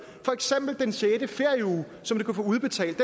for eksempel den sjette ferieuge som du kan få udbetalt